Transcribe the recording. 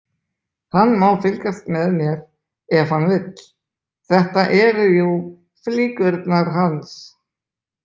Hann má fylgjast með mér ef hann vill, þetta eru jú flíkurnar hans.